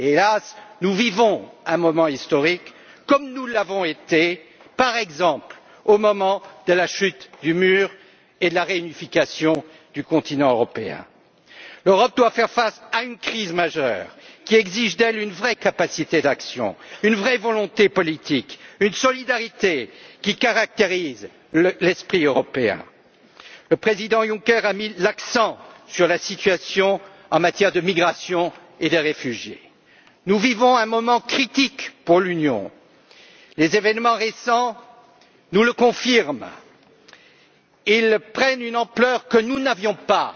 Hélas, nous vivons un moment historique, comme nous l'avons vécu, par exemple, au moment de la chute du Mur et de la réunification du continent européen. L'Europe doit faire face à une crise majeure qui exige d'elle une vraie capacité d'action, une vraie volonté politique, une solidarité qui caractérise l'esprit européen. Le président Juncker a mis l'accent sur la situation en matière de migration et de réfugiés. Nous vivons un moment critique pour l'Union. Les événements récents nous le confirment et prennent une ampleur que nous n'avions